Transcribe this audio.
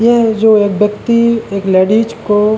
ये जो व्यक्ति एक लेडीज को --